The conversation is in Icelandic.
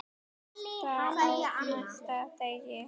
Birtan á næsta degi.